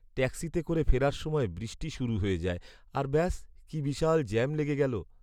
ট্যাক্সিতে করে ফেরার সময় বৃষ্টি শুরু হয়ে যায় আর ব্যাস, কী বিশাল জ্যাম লেগে গেলো।